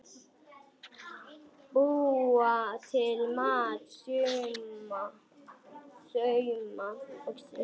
Búa til mat- sauma